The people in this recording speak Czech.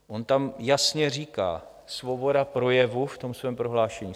On tam jasně říká "svoboda projevu" v tom svém prohlášení.